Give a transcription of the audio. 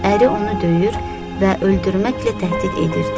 Əri onu döyür və öldürməklə təhdid edirdi.